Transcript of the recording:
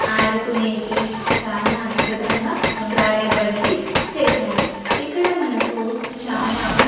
ఆడకునేకి చానా అద్భుతంగా జారే బండి చేశారు ఇక్కడ మనకు చాలా.